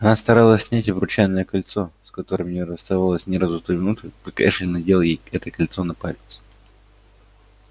она старалась снять обручальное кольцо с которым не расставалась ни разу с той минуты как эшли надел ей это кольцо на палец